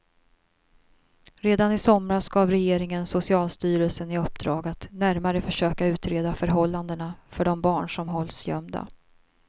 Redan i somras gav regeringen socialstyrelsen i uppdrag att närmare försöka utreda förhållandena för de barn som hålls gömda.